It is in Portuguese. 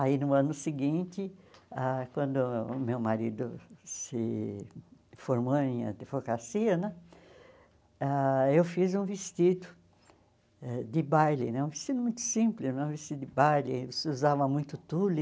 Aí, no ano seguinte, ah quando o meu marido se formou em advocacia né, ãh eu fiz um vestido de baile né, um vestido muito simples, um vestido de baile, se usava muito tule.